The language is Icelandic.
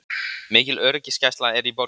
Mikil öryggisgæsla er í borginni